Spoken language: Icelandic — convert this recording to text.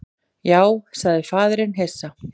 Já, sagði faðirinn hissa.